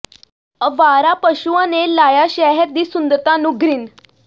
ਅਵਾਰਾ ਪਸ਼ੂਆਂ ਨੇ ਲਾਇਆ ਸ਼ਹਿਰ ਦੀ ਸੁੰਦਰਤਾ ਨੂੰ ਗ੍ਹਿਣ